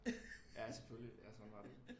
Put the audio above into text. Ja selvfølgelig ja sådan var det